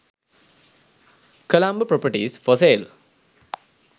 colombo properties for sale